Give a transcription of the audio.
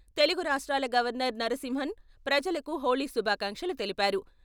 తెలుగు రాష్ట్రాల గవర్నర్ నరసింహన్ ప్రజలకు హోళీ శుభాకాంక్షలు తెలిపారు.